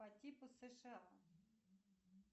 по типу сша